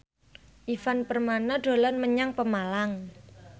Ivan Permana dolan menyang Pemalang